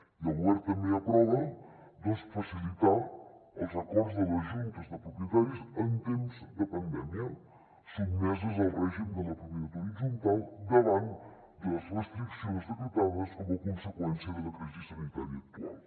i el govern també aprova doncs facilitar els acords de les juntes de propietaris en temps de pandèmia sotmeses al règim de la propietat horitzontal davant de les restriccions decretades com a conseqüència de la crisi sanitària actual